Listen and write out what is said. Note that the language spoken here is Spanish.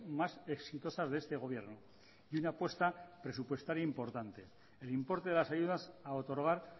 más exitosas de este gobierno y una apuesta presupuestaria importante el importe de las ayudas a otorgar